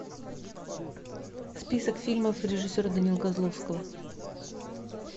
список фильмов режиссера данилы козловского